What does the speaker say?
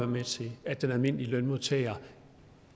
med til at den almindelige lønmodtager